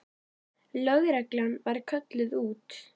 Lögreglan var kölluð út.